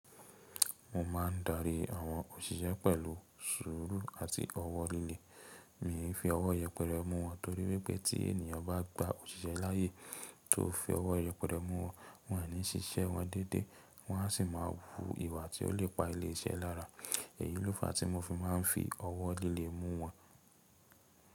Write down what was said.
Mo máa ń darí àwọn òṣìṣẹ́ pẹ̀lú sùúrù àti ọwọ́ líle. Mi ò fi ọwọ́ yẹpẹrẹ mú wọn torí pé tí ènìyàn bá gba òṣìṣẹ́ láyé tó fi ọwọ́ yẹpẹrẹ mú wọn, wọ́n ò ní síṣẹ́ wọn dédé, wọ́n à sí máa wú ìwà tí ó lè pa ilé iṣẹ́ lára. Èyí ló fàá tí mo fi máa ń fi ọwọ́ líle mú wọn.